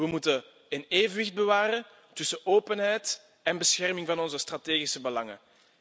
We moeten een evenwicht bewaren tussen openheid en bescherming van onze strategische belangen.